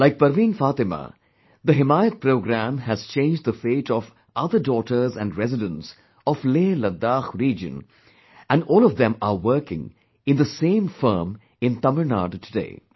Like Parveen Fatima, the 'HimayatProgramme' has changed the fate of other daughters and residents of LehLadakh region and all of them are working in the same firm in Tamil Nadu today